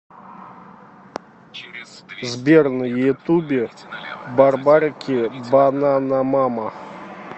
сбер на ютубе барбарики бананамама